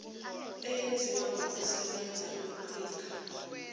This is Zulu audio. eyenziwe ngokusebenza kweqhinga